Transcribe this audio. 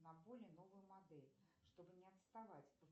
на более новую модель чтобы не отставать